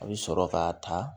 A bɛ sɔrɔ ka ta